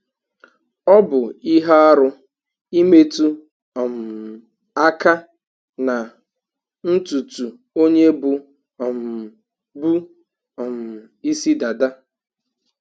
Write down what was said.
Ọ bụ ihe arụ imetu um aka na ntụtụ onye bụ um bụ um ịsị dada